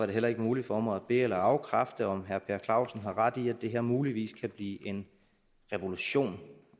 det heller ikke muligt for mig at be eller afkræfte om herre per clausen har ret i at det her muligvis kan blive en revolution